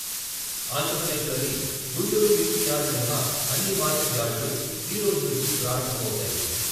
ఆంధ్రప్రదేశ్లోని గుంటూరు మిర్చి యార్డు మినహా అన్ని మార్కెట్ యార్డులు ఈరోజు నుంచి ప్రారంభమవుతాయి.